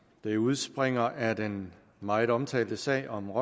det udspringer af den meget omtalte sag om